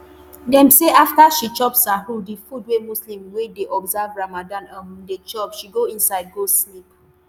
dem say afta she chop sahur di food wey muslims wey dey observe ramadan um dey chop she go inside go sleep